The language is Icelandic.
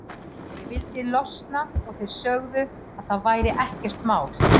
Ég vildi losna og þeir sögðu að það væri ekkert mál.